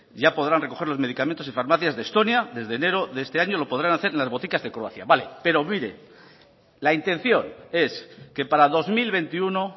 ya podrán recoger los medicamentos en farmacias de estonia desde enero de este año lo podrán hacer en las boticas de croacia vale pero mire la intención es que para dos mil veintiuno